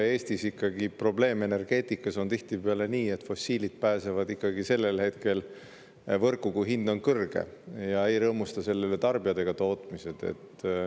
Eestis on ikkagi probleem energeetikas tihtipeale see, et fossiil pääseb võrku sellel hetkel, kui hind on kõrge, ja ei rõõmusta selle üle ei tarbijad ega tootjad.